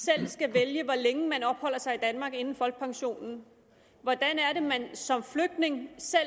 selv skal vælge hvor længe man opholder sig i danmark inden folkepensionen hvordan er det man som flygtning selv